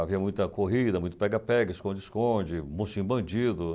Havia muita corrida, muito pega-pega, esconde-esconde, muxim-bandido.